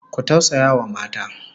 Ku tausayawa mata!